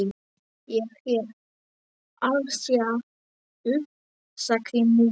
Ég er alsæl, sagði Munda.